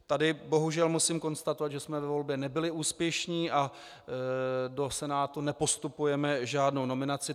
Tady bohužel musím konstatovat, že jsme ve volbě nebyli úspěšní a do Senátu nepostupujeme žádnou nominaci.